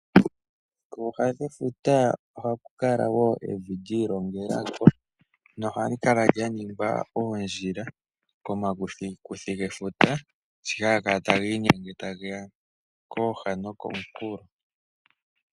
Kooha dhefuta ohaku kala wo evi lyiigongela ko , na ohali kala lya ningwa oondjila komakuthikuthi gefuta sho haga kala taga inyenge tageya kooha nokomunkulo.